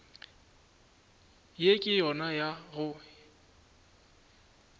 ye ke yona ya go